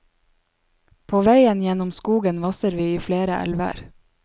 På veien gjennom skogen vasser vi i flere elver.